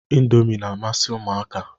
Indọmi na-amasị Ụmụaka